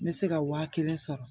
N bɛ se ka wa kelen sɔrɔ